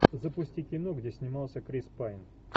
запусти кино где снимался крис пайн